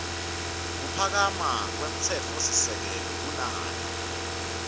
kuphakama kwemtsetfosisekelo kunayo